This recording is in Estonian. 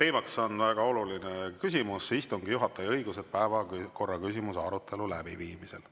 teemaks on väga oluline küsimus: istungi juhataja õigused päevakorraküsimuse arutelu läbiviimisel.